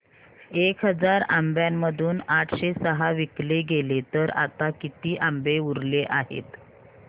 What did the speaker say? एक हजार आंब्यांमधून आठशे सहा विकले गेले तर आता किती आंबे उरले आहेत